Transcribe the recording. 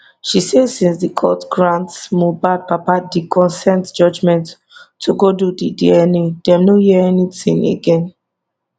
she say since di court grant mohbad papa di consent judgement to go do di dna dem no hear anytin again